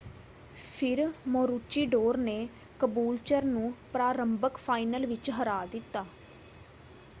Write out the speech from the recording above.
ਫਿਰ ਮੋਰੂਚੀਡੋਰ ਨੇ ਕਬੂਲਚਰ ਨੂੰ ਪ੍ਰਾਰੰਭਕ ਫਾਈਨਲ ਵਿੱਚ ਹਰਾ ਦਿੱਤਾ।